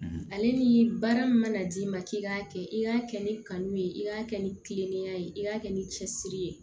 Ale ni baara min mana d'i ma k'i k'a kɛ i k'a kɛ ni kanu ye i k'a kɛ ni kilennenya ye i k'a kɛ ni cɛsiri ye